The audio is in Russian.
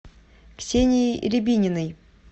ксенией рябининой